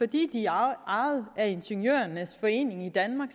de er ejet af ingeniørernes forening i danmark